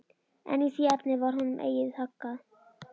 En í því efni varð honum eigi haggað.